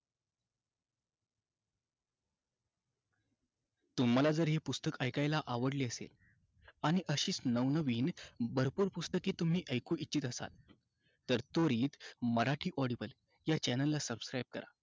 तुम्हाला जर हे पुस्तक ऐकायला आवडले असेल, आणि अशीच नवनवीन भरपूर पुस्तके तुम्ही ऐकू इच्छित असाल तर त्वरित मराठी audible या channel ला subscribe करा.